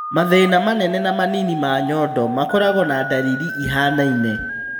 Mathĩĩna manene na manini ma nyondo makoragũo na ndariri ihianaine.